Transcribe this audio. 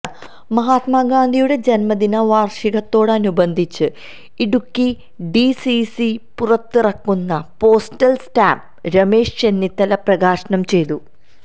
മഹാത്മഗാന്ധിയുടെ ജന്മദിനവാര്ഷികത്തോടനുബന്ധിച്ച് Idukki D C C പുറത്തിറക്കുന്ന postal stamp Ramesh Chennithala പ്രകാശനം ചെയ്തു